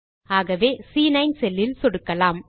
ஆகவே சி9 செல் இல் சொடுக்கலாம்